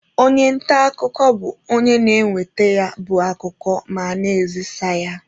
Onye nta akụkọ bụ onye na-enweta ya bụ akụkọ ma na-ezisa ya.